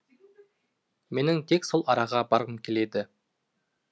менің тек сол араға барғым келеді